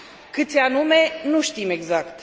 Câți anume, nu știm exact.